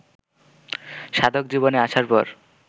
সাধকজীবনে আসার পর